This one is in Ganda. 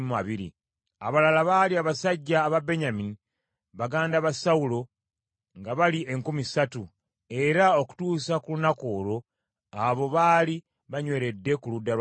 Abalala baali abasajja aba Benyamini, baganda ba Sawulo, nga bali enkumi ssatu, era okutuusa ku lunaku olwo abo baali banyweredde ku ludda lwa Sawulo;